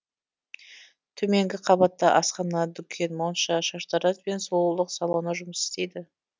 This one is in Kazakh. төменгі қабатта асхана дүкен монша шаштараз бен сұлулық салоны жұмыс істейді